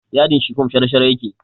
Yadin shifom shara-shara yake